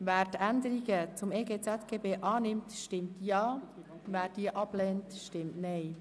Wer die Änderungen zum EG ZGB annimmt, stimmt Ja, wer sie ablehnt, stimmt Nein.